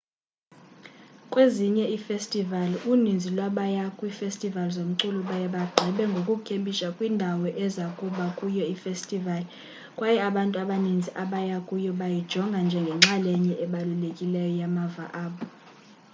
kwezinye iifestivali uninzi lwabaya kwiifestivali zomculo baye bagqibe ngokukhempisha kwindawo eza kuba kuyo ifestivali kwaye abantu abaninzi abaya kuyo bayijonga njengenxalenye ebalulekileyo yamava abo